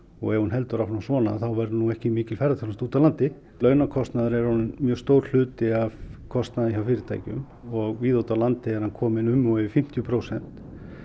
og ef hún heldur áfram svona þá verður ekki mikil ferðaþjónusta úti á landi launakostnaður er orðinn mjög stór hluti af kostnaði hjá fyrirtækjum og víða úti á landi er hann kominn um og yfir fimmtíu prósent